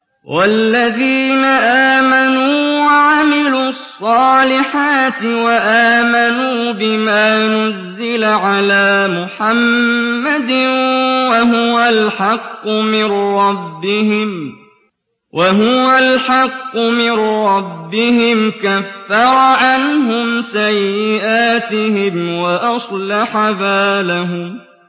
وَالَّذِينَ آمَنُوا وَعَمِلُوا الصَّالِحَاتِ وَآمَنُوا بِمَا نُزِّلَ عَلَىٰ مُحَمَّدٍ وَهُوَ الْحَقُّ مِن رَّبِّهِمْ ۙ كَفَّرَ عَنْهُمْ سَيِّئَاتِهِمْ وَأَصْلَحَ بَالَهُمْ